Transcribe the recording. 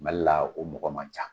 Mali la o mɔgɔ man ca.